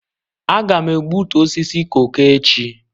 Aga m egbutu osisi koko echi.